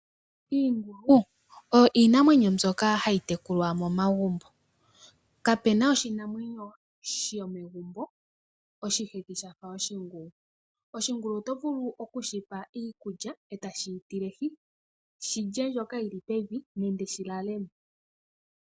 Iingulu oyo iinamwenyo mbyoka hayi tekulwa momagumbo. Kapena oshinamwenyo shomegumbo oshihethi shafa oshingulu. Oshingulu oto vulu okushipa iikulya e ta shi yi tilehi, shi lye mbyoka yili pevi nenge shi lalemo.